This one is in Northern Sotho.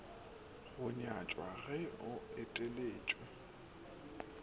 go nyatšwa ge o eteletše